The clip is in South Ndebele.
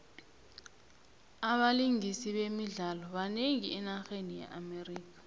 abalingisi bemidlalo banengi enarheni ye amerika